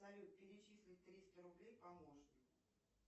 салют перечисли триста рублей помощнику